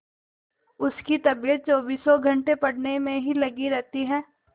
उसकी तबीयत चौबीसों घंटे पढ़ने में ही लगी रहती है